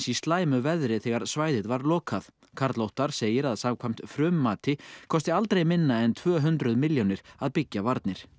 slæmu veðri þegar svæðið var lokað karl Óttar segir að samkvæmt kosti aldrei minna en tvö hundruð milljónir að byggja varnir